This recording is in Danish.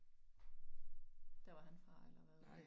Der var han fra eller hvad?